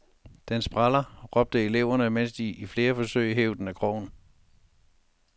Den spræller, råbte eleverne, mens de i flere forsøg hev den af krogen.